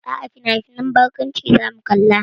A'a, finafinan barkwanci zamu kalla.